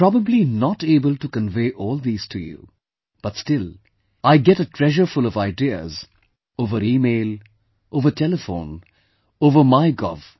I am probably not able to convey all these to you but still I get a treasurefull of ideas over email, over telephone, over mygov